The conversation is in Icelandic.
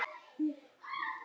Hún gerði þetta bara.